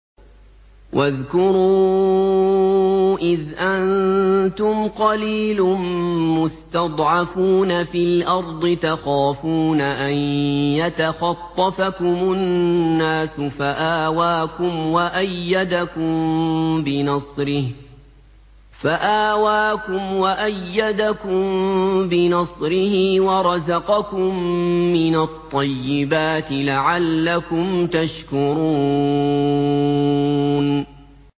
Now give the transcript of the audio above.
وَاذْكُرُوا إِذْ أَنتُمْ قَلِيلٌ مُّسْتَضْعَفُونَ فِي الْأَرْضِ تَخَافُونَ أَن يَتَخَطَّفَكُمُ النَّاسُ فَآوَاكُمْ وَأَيَّدَكُم بِنَصْرِهِ وَرَزَقَكُم مِّنَ الطَّيِّبَاتِ لَعَلَّكُمْ تَشْكُرُونَ